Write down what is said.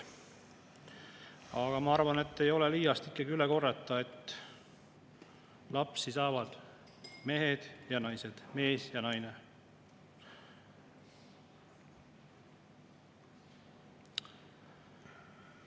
Aga ma arvan, et ei ole liiast ikkagi üle korrata, et lapsi saavad mehed ja naised, mees ja naine.